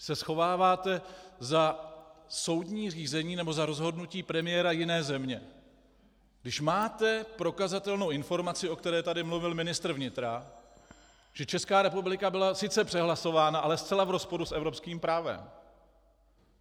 Vy se schováváte za soudní řízení nebo za rozhodnutí premiéra jiné země, když máte prokazatelnou informaci, o které tady mluvil ministr vnitra, že Česká republika byla sice přehlasována, ale zcela v rozporu s evropským právem.